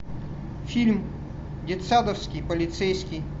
фильм детсадовский полицейский